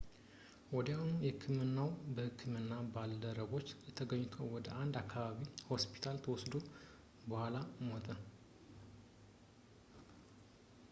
ወዲያውኑ በሕክምናው የሕክምና ባልደረቦች ተገኝቶ ወደ አንድ የአከባቢ ሆስፒታል ተወስዶ በኋላ ሞተ